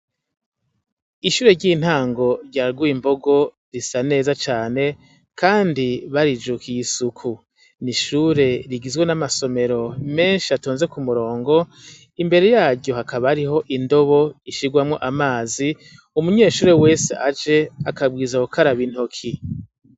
Ishure ry'intango rya Rwimbongo risa neza cane, kandi barijukiye isuku. N'ishure rigizwe n'amasomero menshi atonze k'umurongo. Imbere yaryo hakaba hariho indobo ishiramwo amazi, umunyeshure wese aje akabwirizwa gukaraba intoke.